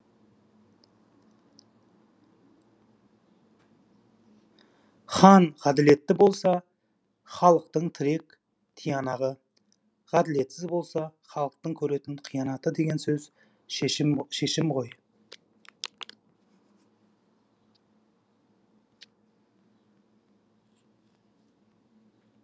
хан ғаділетті болса халықтың тірек тиянағы ғаділетсіз болса халықтың көретін қиянаты деген сөз шешімі ғой